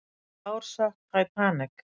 Hvaða ár sökk Titanic?